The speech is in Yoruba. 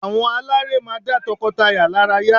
Àwọn aláré máa dá tọkọtaya lára yá